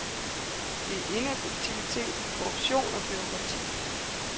Det er ineffektivitet, korruption og bureaukrati.